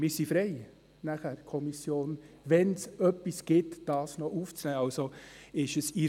Wir, die Kommission, sind nachher frei, dies noch aufzunehmen, wenn es denn etwas gibt.